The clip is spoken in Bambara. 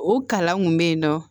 O kalan kun be yen nɔ